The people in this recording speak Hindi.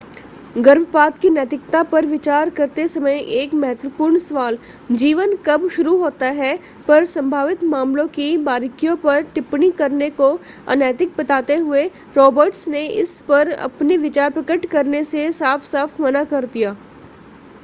गर्भपात की नैतिकता पर विचार करते समय एक महत्वपूर्ण सवाल जीवन कब शुरू होता है पर संभावित मामलों की बारीकियों पर टिप्पणी करने को अनैतिक बताते हुए रॉबर्ट्स ने इस पर अपने विचार प्रकट करने से साफ़-साफ़ मना कर दिया